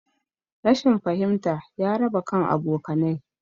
Rashin fahimta ya raba kan abokanai